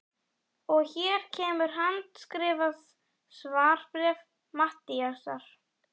Og hér kemur handskrifað svarbréf Matthíasar